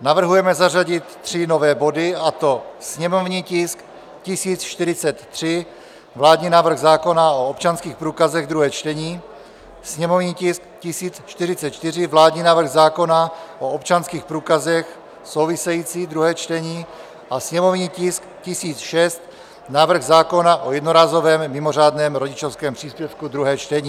Navrhujeme zařadit tři nové body, a to sněmovní tisk 1043, vládní návrh zákona o občanských průkazech, druhé čtení, sněmovní tisk 1044, vládní návrh zákona o občanských průkazech - související, druhé čtení, a sněmovní tisk 1006, návrh zákona o jednorázovém mimořádném rodičovském příspěvku, druhé čtení.